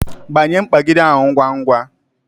Gbanye mkpagide ahụ ngwa ngwa